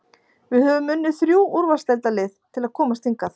Við höfum unnið þrjú úrvalsdeildarlið til að komast hingað.